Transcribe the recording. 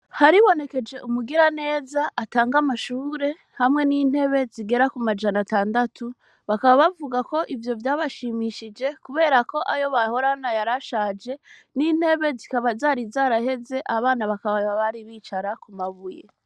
Haribonekeje umugira neza atanga amashure hamwe n'intebe zigera ku majana atandatu bakaba bavuga ko ivyo vyabashimishije, kubera ko ayo bahorana yarashaje n'intebe zikaba zari zaraheze abana bakaba babari bicara ku mabuye.